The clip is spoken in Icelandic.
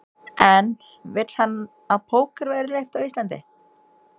En vill hann að póker verði leyft á Íslandi?